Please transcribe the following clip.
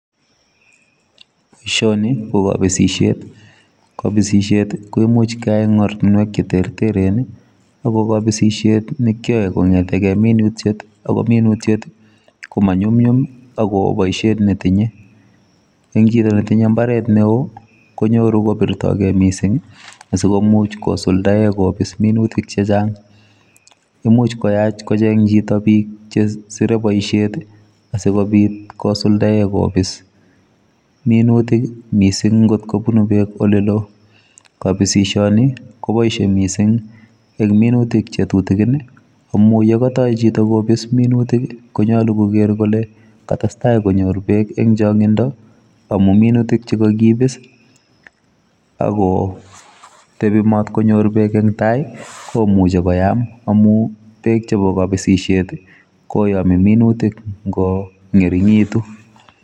Boisoni ko kabisisiet, kabisisiet imuuch keyai en ortinweek che terteren ii agobo kabisisiet ko kiyae kongeteen minutiet ako minutiet koma nyumnyum ago oo boisiet ne tinye en chitoo ne tinyei mbaret ne wooh konyoruu kosuldaen, imuuch koyaach kocheeng chitoo biik che sirei boisiet ii asikobiit kosuldaen kobiis minutik missing ngoot kobunui minutik ole loo kabisisienii kobaishe missing en minutik che tutukiin ye katoi chitoo kobis minutik ko nyaluu koger kole kotesetai konyoor beek en chaangindo amuun minutik che kakibiis ako tebii matkonyor beek en tai komuchei koyaam amuun beek chebo kabisisiet koyame minutik ngo ngerinyituun.